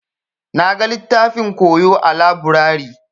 Na gan littafin koyo a laburare.